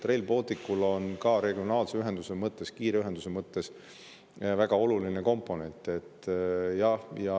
Rail Baltic on ka regionaalse ühenduse mõttes, kiire ühenduse mõttes väga oluline komponent.